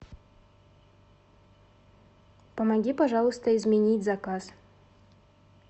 помоги пожалуйста изменить заказ